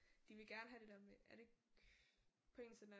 De vil gerne have det der med er det ikke